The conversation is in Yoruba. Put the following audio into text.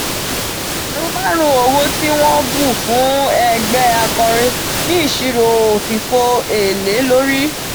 egberun marun owo ti won bu fun egbe akorin ni isiro ofifo ele lori re.